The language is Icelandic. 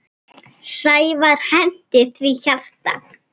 Sævar henti því hjarta.